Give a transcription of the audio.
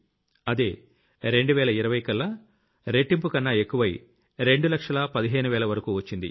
అదే 2020కల్లా అది రెట్టింపుకన్నా ఎక్కువై రెండు లక్షల 15 వేల వరకూ వచ్చింది